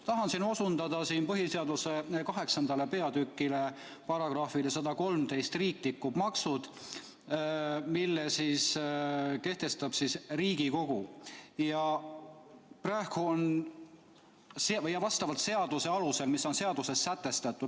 Tahan siin osundada põhiseaduse kaheksanda peatüki §-le113, mille kohaselt riiklikud maksud kehtestab Riigikogu seaduse alusel.